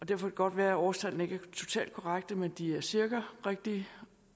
det godt være at årstallene ikke er totalt korrekte men de er cirka rigtige